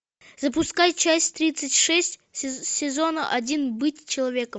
запускай часть тридцать шесть сезона один быть человеком